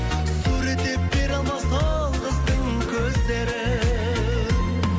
суреттеп бере алмас ол қыздың көздерін